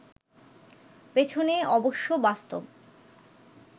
পেছনে অবশ্য বাস্তব